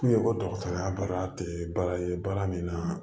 K'u ye ko dɔgɔtɔrɔya baara tɛ baara ye baara min na